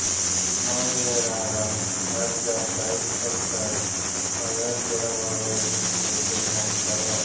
ನೌಹೇರಾರ ಅಜ್ಜ ಶೈಖ್ ಕೊಲ್ಕರ್ ಮದಾರ್ ಕೂಡ ಓರ್ವ ಯಶಸ್ವಿ ಉದ್ಯಮಿಯಾಗಿದ್ದರು